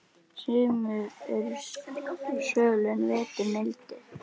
Sumur eru svöl en vetur mildir.